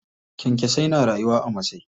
Kyankyasai na rayuwa a masai.